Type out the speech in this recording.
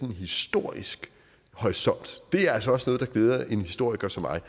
historisk horisont det er altså også noget der glæder en historiker som mig